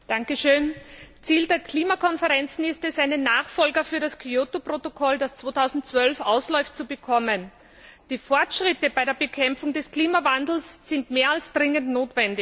Herr Präsident! Ziel der Klimakonferenzen ist es, einen Nachfolger für das Kyoto Protokoll, das 2012 ausläuft, zu bekommen. Die Fortschritte bei der Bekämpfung des Klimawandels sind mehr als dringend notwendig.